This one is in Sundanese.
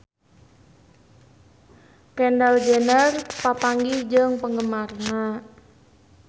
Kendall Jenner papanggih jeung penggemarna